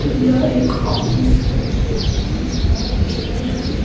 यह एक ऑफिस है जिसमें चार चेयर हैं।